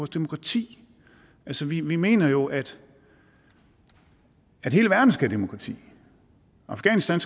demokrati altså vi mener jo at hele verden skal have demokrati afghanistan